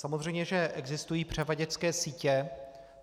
Samozřejmě že existují převaděčské sítě.